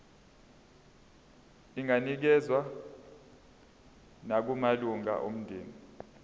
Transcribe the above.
inganikezswa nakumalunga omndeni